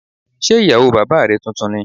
Ṣé ìyàwó bàbá rẹ tuntun ni?